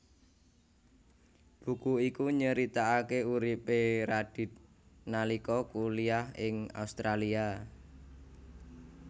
Buku iku nyeritakaké uripé Radith nalika kuliah ing Australia